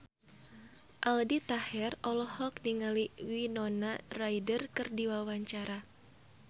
Aldi Taher olohok ningali Winona Ryder keur diwawancara